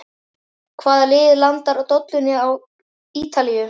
Hvaða lið landar dollunni á Ítalíu?